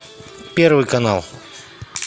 первый канал